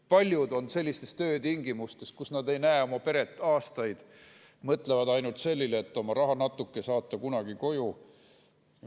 Paljudel on sellised töötingimused, et nad ei näe oma peret aastaid, mõtlevad ainult sellele, et saata oma rahanatuke kunagi koju.